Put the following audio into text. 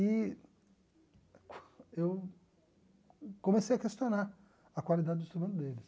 E eu comecei a questionar a qualidade do instrumento deles.